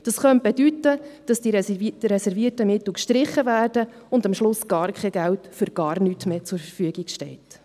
Das könnte bedeuten, dass die reservierten Mittel gestrichen würden und am Schluss gar kein Geld für gar nichts mehr zur Verfügung stünde.